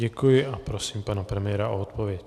Děkuji a prosím pana premiéra o odpověď.